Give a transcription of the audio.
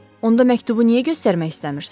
Onda məktubu niyə göstərmək istəmirsiz?